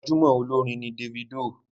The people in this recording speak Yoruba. Gbajúmọ̀ olórin ni Davido.